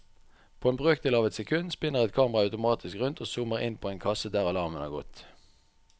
På en brøkdel av et sekund spinner et kamera automatisk rundt og zoomer inn på en kasse der alarmen har gått.